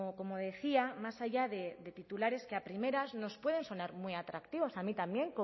como decía más allá de titulares que a primeras nos pueden sonar muy atractivos a mí también